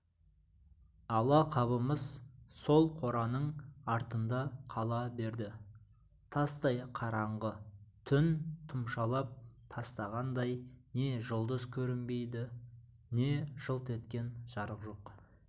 ала қабымыз сол қораның артында қала берді тастай қараңғы түн тұмшалап тастағандай не жұлдыз көрінбейді не жылт еткен жарық жоқ